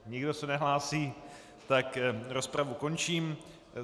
Nikdo se nehlásí, tak rozpravu končím.